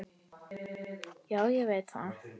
Já, ég veit það